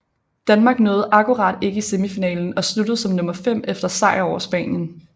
Danmark nåede akkurat ikke i semifinalen og sluttede som nummer 5 efter sejr over Spanien